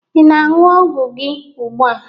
ị na-aṅụ ọgwụ gị ugbu a?